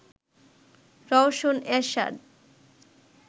Rowshan Ershad